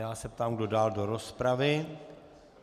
Já se ptám, kdo dál do rozpravy?